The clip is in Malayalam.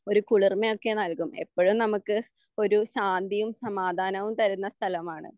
ഒരു കുളിർമ ഒക്കെ നൽകും എപ്പോൾ എപ്പോഴും നമുക്ക് ഒരു ശാന്തിയും സമാധാനവും തരുന്ന സ്ഥലമാണ്.